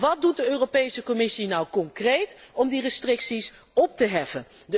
Wat doet de Europese Commissie nu concreet om die restricties op te heffen?